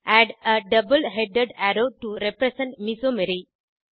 add a double headed arrow to represent மெசோமரி